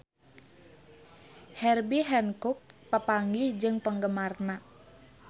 Herbie Hancock papanggih jeung penggemarna